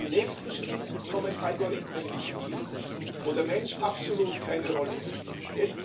Im nächsten Schritt kommen Algorithmen ins Spiel, wo der Mensch absolut keine Rolle mehr spielt.